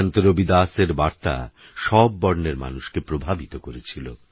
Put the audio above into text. সন্তরবিদাসেরবার্তাসববর্ণেরমানুষকেপ্রভাবিতকরেছিল